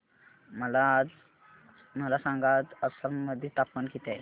मला सांगा आज आसाम मध्ये तापमान किती आहे